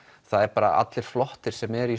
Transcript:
það eru allir flottir sem eru í